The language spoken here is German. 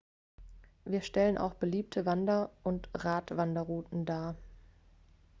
sie stellen auch beliebte wander und radwanderrouten dar